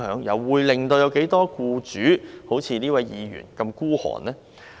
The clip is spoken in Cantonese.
又有多少僱主會像這位議員般的吝嗇呢？